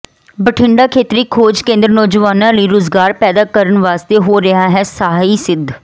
ਬਠਿੰਡਾ ਖੇਤਰੀ ਖੋਜ ਕੇਂਦਰ ਨੌਜਵਾਨਾਂ ਲਈ ਰੁਜ਼ਗਾਰ ਪੈਦਾ ਕਰਨ ਵਾਸਤੇ ਹੋ ਰਿਹਾ ਹੈ ਸਹਾਈ ਸਿੱਧ